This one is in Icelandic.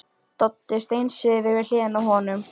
Doddi steinsefur við hliðina á honum.